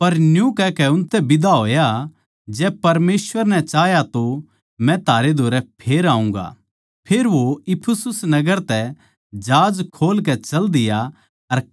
पर न्यू कहकै उसतै बिदा होया जै परमेसवर नै चाह्या तो मै थारै धोरै फेर आऊँगा फेर वो इफिसुस नगर तै जहाज खोल कै चाल दिया